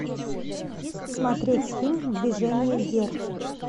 смотреть фильм движение вверх